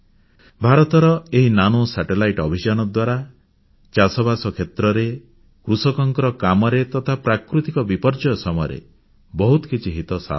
ଭାରତର ଏହି nano satellite କ୍ଷୁଦ୍ର ଉପଗ୍ରହ ଅଭିଯାନ ଦ୍ୱାରା ଚାଷବାସ କ୍ଷେତ୍ରରେ କୃଷକଙ୍କ କାମରେ ତଥା ପ୍ରାକୃତିକ ବିପର୍ଯ୍ୟୟ ସମୟରେ ବହୁତ କିଛି ହିତ ସାଧନ ହେବ